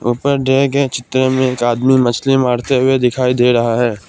ऊपर दिए गए चित्र में एक आदमी मछली मारते हुए दिखाई दे रहा है।